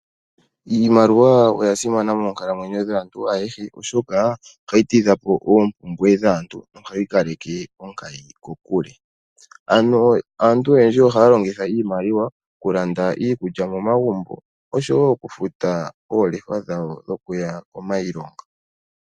Iimaliwa oya simana moonkalamwenyo dhaantu ayehe oshoka ohayi tidha po oompumbwe dhaantu nohayi kaleke onkayi kokule. Ano aantu oyendji ohaya longitha iimaliwa okulanda iikulya momagumbo, oshowo okufuta oolefa dhawo dhokuya komailonga.